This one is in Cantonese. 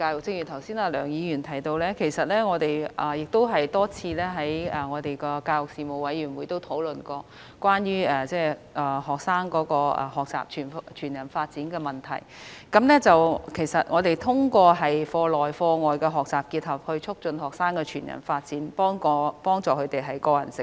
正如梁議員剛才提及，我們已曾多次和教育事務委員會討論推動學生全人發展的問題，目的是透過課內及課外學習的結合，促進學生全人發展，協助他們的個人成長。